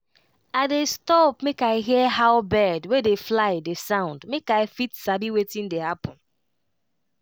i dey stop make i hear how bird wey dey fly dey sound make i fit sabi wetin dey happen.